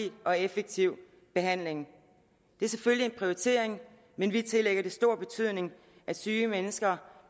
og effektiv behandling det er selvfølgelig en prioritering men vi tillægger det stor betydning at syge mennesker